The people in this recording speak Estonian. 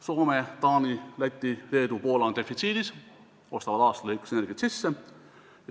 Soome, Taani, Läti, Leedu ja Poola on defitsiidis, ostavad aasta arvestuses energiat sisse.